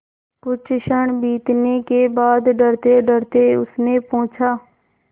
कुछ क्षण बीतने के बाद डरतेडरते उसने पूछा